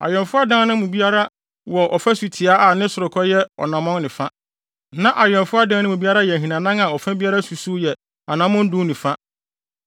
Awɛmfo adan no mu biara anim wɔ ɔfasu tiaa a ne sorokɔ yɛ ɔnammɔn ne fa, na awɛmfo adan no mu biara yɛ ahinanan a ɔfa biara susuw anammɔn du ne fa.